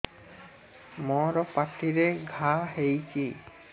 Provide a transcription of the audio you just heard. ମୋର ପାଟିରେ ଘା ହେଇଚି